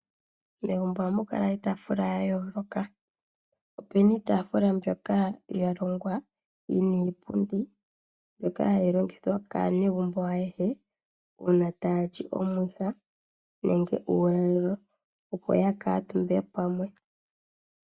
Megumbo ohamu kala iitaafula ya yooloka. Ope na iitaafula mbyoka ya longwa yi na iipundi mbyoka hayi longithwa kaanegumbo ayehe, uuna taa li omwiha nenge uulalelo, opo ya kaantumbe pamwe.